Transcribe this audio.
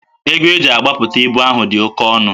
Ego e ji agbapụta ibu ahụ dị oke ọnụ